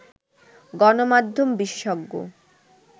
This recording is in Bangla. গণমাধ্যম বিশেষজ্ঞ